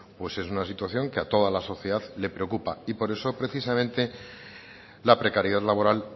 pues es una situación que a toda la sociedad le preocupa y por eso precisamente la precariedad laboral